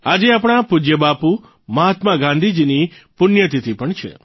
આજે આપણા પૂજય બાપુ મહાત્મા ગાંધીજીની પુણ્યતિથિ પણ છે